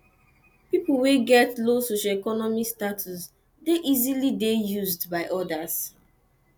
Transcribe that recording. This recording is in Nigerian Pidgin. pipo wey get low socioeconomic status de easily de used by others